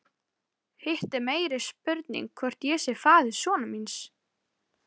Hitt er meiri spurning hvort ég sé faðir sonar míns.